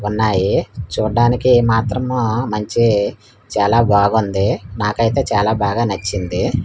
ఉన్నాయి చూడ్డానికి మాత్రము మంచి చాలా బాగుంది నాకైతే చాలా బాగా నచ్చింది--